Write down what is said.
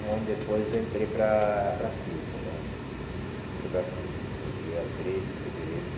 Um ano depois eu entrei para para a Filco né entrei para a Filco, no dia três de fevereiro de